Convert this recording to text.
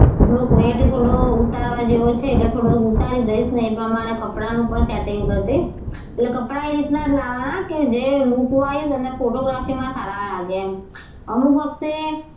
થોડો weight થોડો ઉતારવા જેવો છે એટલે થોડો ઉતારી ને પ્રમાણે કપડાં નું પણ setting કરી દઇશ એટલે કપડાં એ જ રીતના જ લાવવા કે જે look wise અને photography માં સારા લાગે એમ અમુક વખતે,